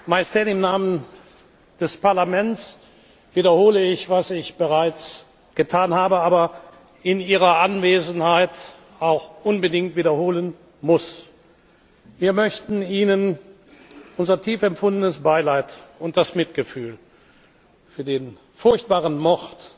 Majestät, im Namen des Parlaments wiederhole ich, was ich bereits getan habe, aber in Ihrer Anwesenheit auch unbedingt wiederholen muss Wir möchten Ihnen unser tief empfundenes Beileid und das Mitgefühl für den furchtbaren Mord